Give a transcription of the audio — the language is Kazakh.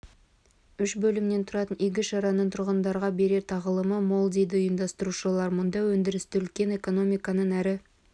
үш бөлімнен тұратын игі шараның тұрғындарға берер тағылымы мол дейді ұйымдастырушылар мұнда өндірісті өлкенің экономиканың әр